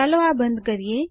ચાલો આ બંધ કરીએ